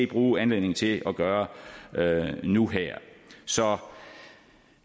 bruge anledningen til at gøre nu her så